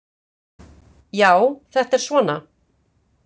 Já, þetta er svona.